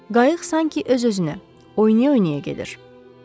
Qayıq sanki öz-özünə oynaya-oynaya gedir.